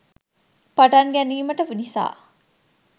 පටන් ගැනීමට නිසා